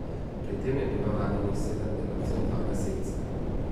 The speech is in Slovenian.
Pri tem je bilo ranjenih sedem delavcev in dva gasilca.